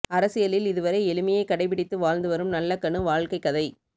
அரசியலில் இதுவரை எளிமையை கடைப்பிடித்து வாழ்ந்து வரும் நல்லகண்ணு வாழ்க்கை கதை